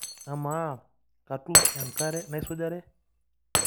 Amaa katum enkare naisujare?